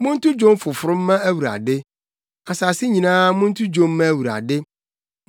Monto dwom foforo mma Awurade; asase nyinaa monto dwom mma Awurade.